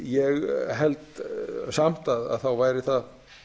ég held samt að þá væri það